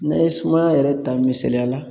Ne ye sumaya yɛrɛ ta misaliya la